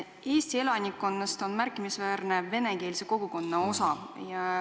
Eesti elanikkonnast moodustab märkimisväärse osa venekeelne kogukond.